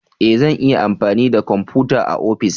E! zan iya amfani da kwamfuta a ofis.